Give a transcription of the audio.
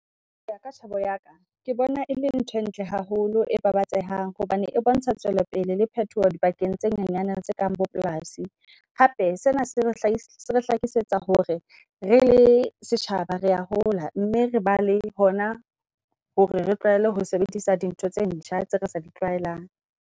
Hoya ka tjhebo ya ka ke bona e le ntho e ntle haholo, e babatsehang. Hobane e bontsha tswele pele le phetoho di bakeng tse nyenyana tse kang bo polasi. Hape sena se re re hlakisetsa hore re le setjhaba rea hola mme re ba le hona hore re tlwaele ho sebedisa di ntho tse ntjha tse re sa di tlwaelang.